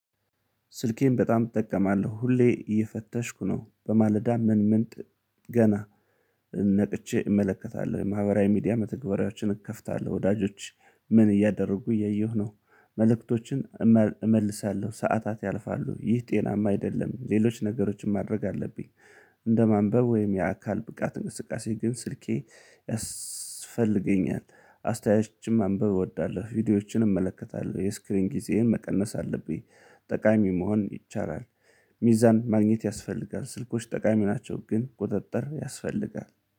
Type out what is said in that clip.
ስልኬን በጣም እጠቀማለሁ ሁሌ እየፈተሽኩ ነው በማለዳ ምን ምን ገና ነቅቼ እመለከታለሁ የማህበራዊ ሚዲያ መተግበሪያዎችን እከፍታለሁ። ወዳጆች ምን እያደረጉ እያየሁ ነው። መልእክቶችን እመልሳለሁ ሰዓታት ያልፋሉ ይህ ጤናማ አይደለም። ሌሎች ነገሮችን ማድረግ አለብኝ። እንደ ማንበብ ወይም የአካል ብቃት እንቅስቃሴ ግን ስልኬ ያስፈልገኛል አስተያየቶችም ማንብብ እወዳለሁ። ቪዲዮዎችን እመለከታለሁ የስክሪን ጊዜዬን መቀነስ አለብኝ። ጠቃሚ መሆን ይቻላል። ሚዛን ማግኘት ያስፈልጋል ስልኮች ጠቃሚ ናቸው ግን ቁጥጥር ያስፈልጋል